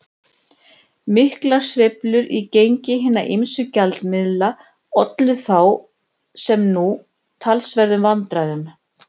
Miklar sveiflur í gengi hinna ýmsu gjaldmiðla ollu þá, sem nú, talsverðum vandræðum.